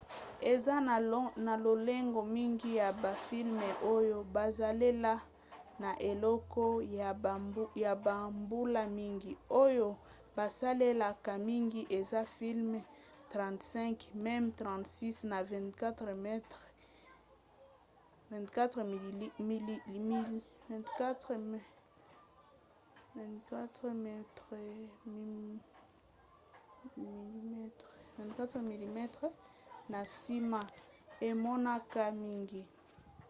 eza na lolenge mingi ya bafilme oyo basalela na eleko ya bambula mingi. oyo basalelaka mingi eza filme 35 mm 36 na 24 mm na nsima emonanaka mingi